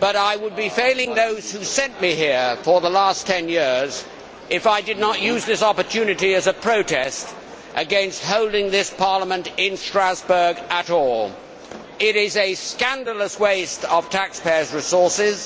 But I would be failing those who sent me here for the last 10 years if I did not use this opportunity as a protest against holding this Parliament in Strasbourg at all. It is a scandalous waste of taxpayers' resources.